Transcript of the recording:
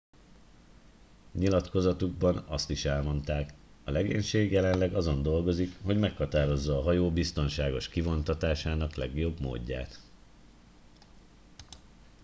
nyilatkozatukban azt is elmondták a legénység jelenleg azon dolgozik hogy meghatározza a hajó biztonságos kivontatásának legjobb módját